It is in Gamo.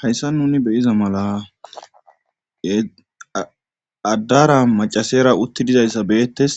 hayssa nuni beyiza mala addara macasera utti dizayssa beetes